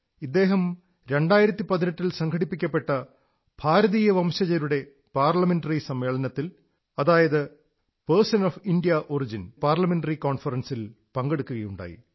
ഇദ്ദേഹം 2018 ൽ സംഘടിപ്പിക്കപ്പെട്ട ഭാരതീയ വംശജരുടെ പാർലമെന്ററി സമ്മേളനത്തിൽ person of Indian origin PIO parliamentary conference പങ്കെടുക്കുകയുണ്ടായി